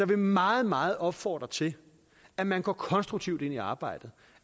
vil meget meget opfordre til at man går konstruktivt ind i arbejdet